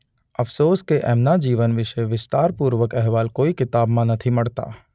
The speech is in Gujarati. અફસોસ કે એમના જીવન વિશે વિસ્તાર પૂર્વક અહેવાલ કોઈ કિતાબમાં નથી મળતા.